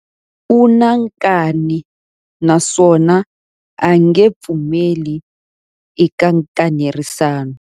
U na nkani naswona a nge pfumeli eka nkanerisano.